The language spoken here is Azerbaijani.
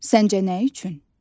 Səncə nə üçün?